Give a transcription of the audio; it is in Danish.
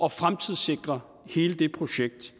at fremtidssikre hele det projekt